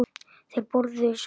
Þeir borðuðu súpu.